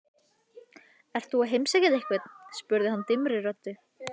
Ert þú að heimsækja einhvern? spurði hann dimmri röddu.